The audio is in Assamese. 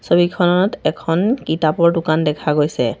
ছবিখনত এখন কিতাপৰ দোকান দেখা গৈছে।